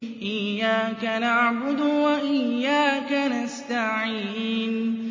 إِيَّاكَ نَعْبُدُ وَإِيَّاكَ نَسْتَعِينُ